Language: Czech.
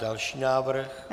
Další návrh?